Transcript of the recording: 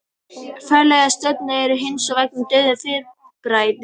Fjarlægar stjörnur eru hins vegar dauf fyrirbæri.